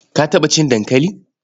Ka taɓa cin dankali?